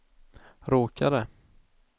råkade